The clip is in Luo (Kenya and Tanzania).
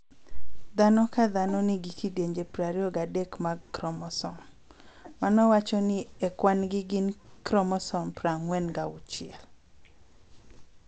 Dhano ka dhano nigi kidienje prariyo gadek mag kromosom, mano wacho ni e kwan gin gi kromosom prang'wen gauchiel